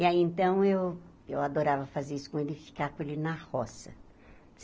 E aí, então, eu eu adorava fazer isso com ele e ficar com ele na roça.